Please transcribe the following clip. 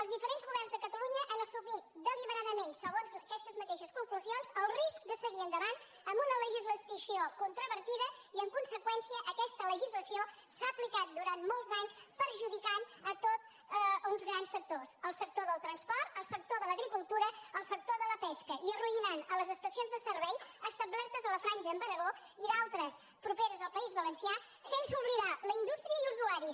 els diferents governs de catalunya han assumit deliberadament segons aquestes mateixes conclusions el risc de seguir endavant amb una legislació controvertida i en conseqüència aquesta legislació s’ha aplicat durant molts anys perjudicant uns grans sectors el sector del transport el sector de l’agricultura el sector de la pesca i arruïnant les estacions de servei establertes a la franja amb aragó i altres properes al país valencià sense oblidar la indústria i els usuaris